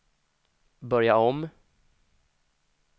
börja om